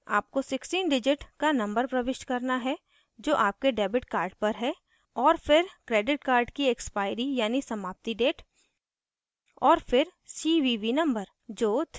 आपको 16 digit का number प्रविष्ट करना है जो आपके debit card पर है और फिर credit card की expiry यानि समाप्ति date और फिर cvv number